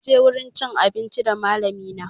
Munje wurin cin abinci da malami na